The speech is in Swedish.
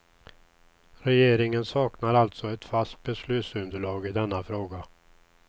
Regeringen saknar alltså ett fast beslutsunderlag i denna fråga.